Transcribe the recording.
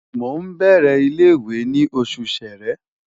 Mo n bẹrẹ ile-iwe ni Oṣù Ṣẹ̀rẹ́